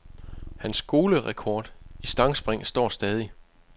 Hans skolerekord i stangspring står stadig.